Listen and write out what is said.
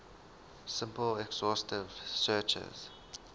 simple exhaustive searches